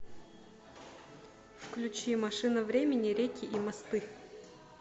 включи машина времени реки и мосты